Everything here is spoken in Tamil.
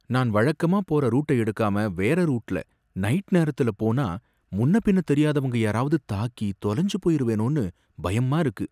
நான் வழக்கமா போற ரூட்ட எடுக்காம வேற ரூட்டுல நைட்டு நேரத்துல போனா முன்னபின்ன தெரியாதவங்க யாரவது தாக்கி தொலஞ்சுபோயிருவேனோனு பயமா இருக்கு.